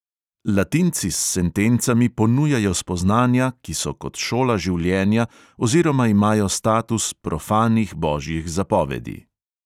Latinci s sentencami ponujajo spoznanja, ki so kot šola življenja oziroma imajo status profanih božjih zapovedi.